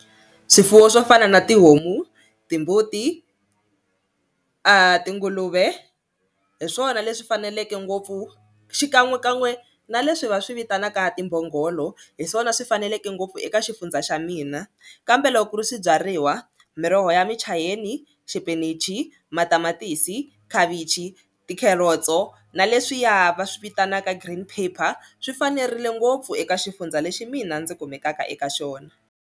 Swifuwo swo fana na tihomu, timbuti tinguluve hi swona leswi faneleke ngopfu xikan'wekan'we na leswi va swi vitanaka timbhongolo hi swona swi faneleke ngopfu eka xifundza xa mina kambe loko ku ri swibyariwa miroho ya michayeni, xipinichi, matamatisi, khavichi, tikherotso na leswiya va swi vitanaka green paper swi fanerile ngopfu eka xifundza lexi mina ndzi kumekaka eka xona.